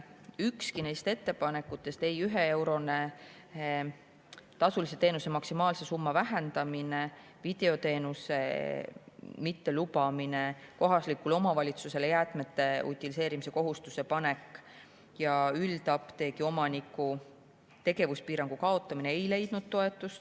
Ükski nendest ettepanekutest, ei 1 euro kaupa tasulise teenuse maksimaalse summa vähendamine, videoteenuse mittelubamine, kohalikule omavalitsusele jäätmete utiliseerimise kohustuse panek ega üldapteegi omaniku tegevuspiirangu kaotamine ei leidnud toetust.